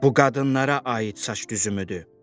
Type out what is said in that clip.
Bu qadınlara aid saç düzümüdür.